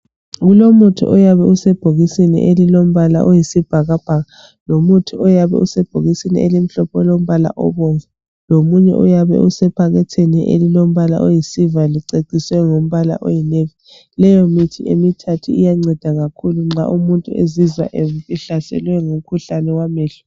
kulomuthi oyabe use bhokisini elilombala oyisibhakabhaka lomuthi oyabe usebhokisini elimhlophe olombala obomvu lomunye oyabe usephakethini olilombala oyi silver liceciswe ngombala oyi navy ,leyo mithi emithathu iyanceda kakhulu nxa umuntu ezizwa ehlaselwe ngumkhuhlane wamehlo